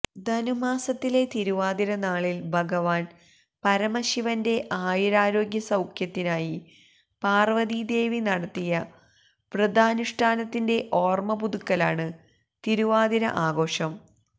ധനു മാസത്തിലെ തിരുവാതിരനാളില് ഭഗവാന് പരമശിവന്റെ ആയുരാരോഗ്യസൌഖ്യത്തിനായി പാര്വ്വതീദേവി നടത്തിയ വൃതാനുഷ്ഠാനുത്തിന്റെ ഓര്മ്മപുതുക്കലാണ് തിരുവാതിര ആഘോഷം